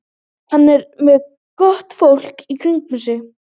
Hann er með gott fólk í kringum sig.